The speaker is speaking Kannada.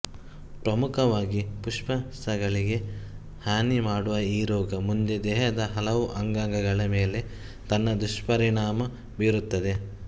ಪ್ರಮುಖವಾಗಿ ಪುಪ್ಪಸಗಳಿಗೆ ಹಾನಿ ಮಾಡುವ ಈ ರೋಗ ಮುಂದೆ ದೇಹದ ಹಲವು ಅಂಗಾಂಗಗಳ ಮೇಲೆ ತನ್ನ ದುಷ್ಪರಿಣಾಮ ಬೀರುತ್ತದೆ